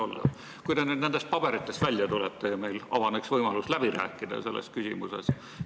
Oleks hea, kui te nüüd nendest paberitest välja tuleksite ja meil avaneks võimalus selles küsimuses läbi rääkida.